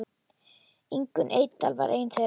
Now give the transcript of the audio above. Ingunn Eydal var ein þeirra.